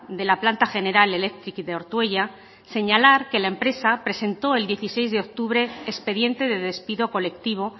de la planta general electric de ortuella señalar que la empresa presento el dieciséis de octubre expediente de despido colectivo